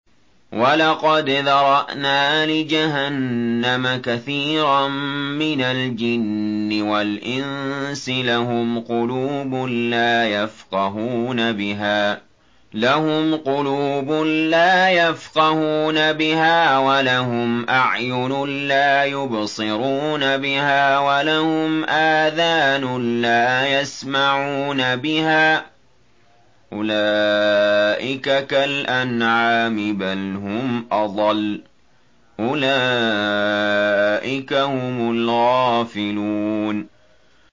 وَلَقَدْ ذَرَأْنَا لِجَهَنَّمَ كَثِيرًا مِّنَ الْجِنِّ وَالْإِنسِ ۖ لَهُمْ قُلُوبٌ لَّا يَفْقَهُونَ بِهَا وَلَهُمْ أَعْيُنٌ لَّا يُبْصِرُونَ بِهَا وَلَهُمْ آذَانٌ لَّا يَسْمَعُونَ بِهَا ۚ أُولَٰئِكَ كَالْأَنْعَامِ بَلْ هُمْ أَضَلُّ ۚ أُولَٰئِكَ هُمُ الْغَافِلُونَ